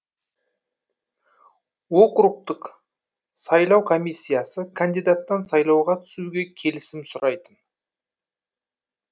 округтік сайлау комиссиясы кандидаттан сайлауға түсуге келісім сұрайтын